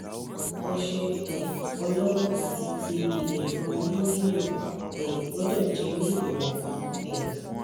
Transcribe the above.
ose um olowo ati ti iyefun ni lilo um gbodo je ni iwonba um